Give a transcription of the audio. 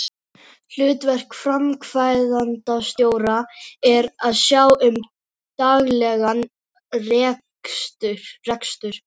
Hlutverk framkvæmdastjóra er að sjá um daglegan rekstur.